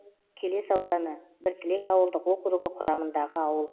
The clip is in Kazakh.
келес ауданы біртілек ауылдық округі құрамындағы ауыл